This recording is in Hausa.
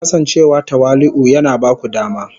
Kasancewa tawali'u yana ba ku dama